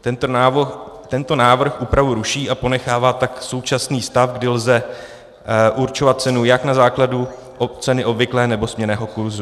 Tento návrh úpravu ruší a ponechává tak současný stav, kdy lze určovat cenu jak na základu ceny obvyklé, nebo směnného kurzu.